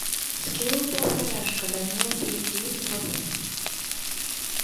скилл повторяшка данила перейди в